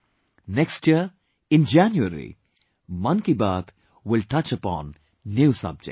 Next year, in January, 'Mann Ki Baat' will touch upon new subjects